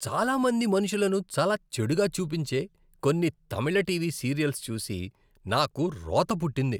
చాలా మంది మనుషులను చాలా చెడుగా చూపించే కొన్ని తమిళ టీవీ సీరియల్స్ చూసి నాకు రోత పుట్టింది.